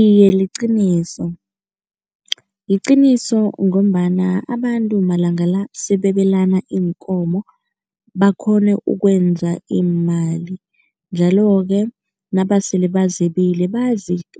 Iye, liqiniso. Liqiniso ngombana abantu malanga la sebebelana iinkomo, bakghone ukwenza iimali njalo-ke nabasele bazebile,